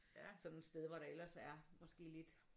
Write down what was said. Sådan et sted hvor der ellers er måske lidt